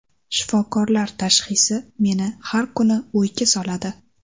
Shifokorlar tashxisi meni har kuni o‘yga soladi.